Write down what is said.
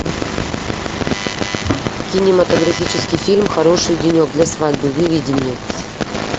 кинематографический фильм хороший денек для свадьбы выведи мне